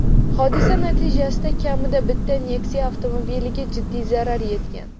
Hodisa natijasida kamida bitta Nexia avtomobiliga jiddiy zarar yetgan.